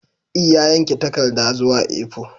E, ya yanke takarda zuwa A4